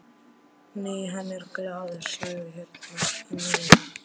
Nei, hann er gallaður, sérðu hérna í miðjunni.